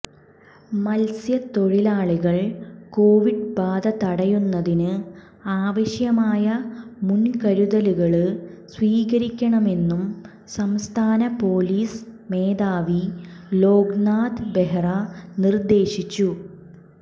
മത്സ്യ തൊഴിലാളികൾ കൊവിഡ് ബാധ തടയുന്നതിന് ആവശ്യമായ മുന്കരുതലുകള് സ്വീകരിക്കണമെന്നും സംസ്ഥാന പൊലീസ് മേധാവി ലോക്നാഥ് ബെഹ്റ നിര്ദ്ദേശിച്ചു